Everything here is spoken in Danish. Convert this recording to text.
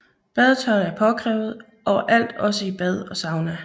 Badetøj er påkrævet overalt også i bad og sauna